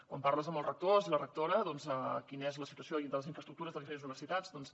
quan parles amb els rectors i les rectores de quina és la situació de les infraestructures de les diferents universitats doncs